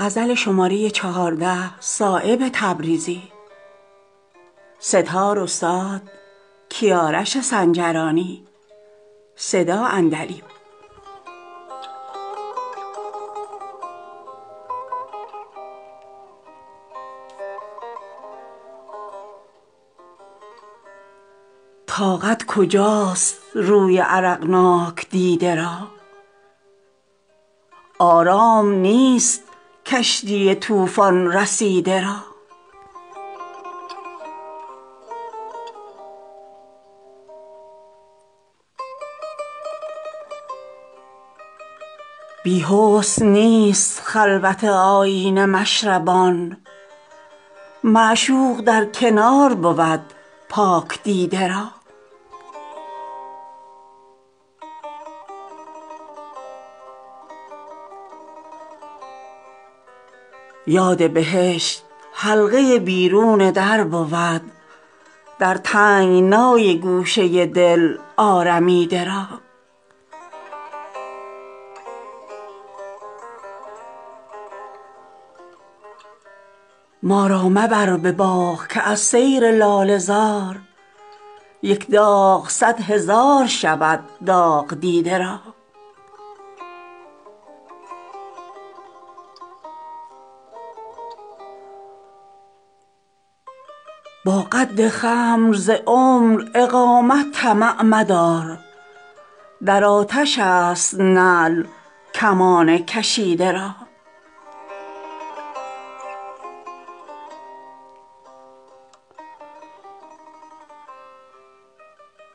با زلف کار نیست رخ یار دیده را ره می گزد چو مار به منزل رسیده را بی حسن نیست خلوت آیینه مشربان معشوق در کنار بود پاک دیده را بسیار زخم هست که خاک است مرهمش نتوان به رشته دوخت دهان دریده را دایم ز خوی خود کشد آزار بدگهر خون است شیر کودک پستان گزیده را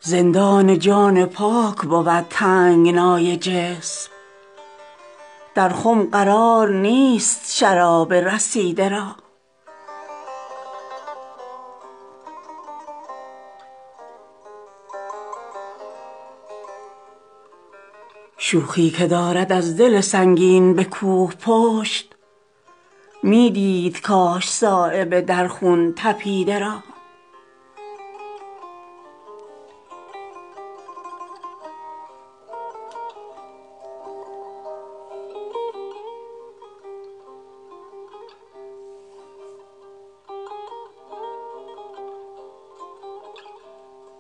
زندان جان پاک بود تنگنای جسم در خم قرار نیست شراب رسیده را ما را مبر به باغ که از سیر لاله زار یک داغ صد هزار شود داغ دیده را از درد بی خبر بود آن کس که می کند با سگ گزیده نسبت مردم گزیده را با قد خم ز عمر اقامت طمع مدار در آتش است نعل کمان کشیده را در بحر تنگ ظرف جهان چند چون حباب در دل گره کنم نفس آرمیده را از صحبت خسیس حذر کن که می شود یک برگ کاه مانع پرواز دیده را در علم آشنایی آن چشم عاجزست صایب که رام کرد غزال رمیده را